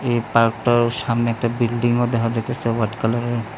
এই পার্কটার সামনে একটা বিল্ডিংও দেখা যাইতেছে হোয়াইট কালারের।